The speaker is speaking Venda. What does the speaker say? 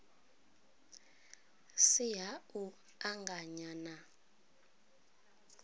si ha u anganya na